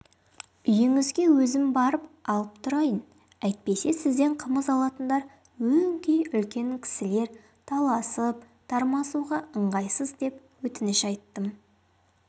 үйіңізге өзім барып алып тұрайын әйтпесе сізден қымыз алатындар өңкей үлкен кісілер таласып-тармасуға ыңғайсыз деп өтініш айттым